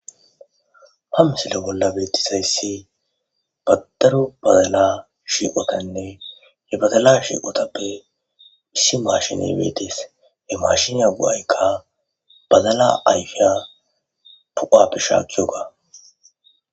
Ha missile bolla bettizayisi ha daro baddala shiqqotanne he baddala shiqqotappe issi mashshineyi bettets he mashinnya go'ayikka baddala ayiffiya poqquwappe shakkiyogga.